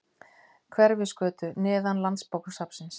Hverfisgötu, neðan landsbókasafnsins.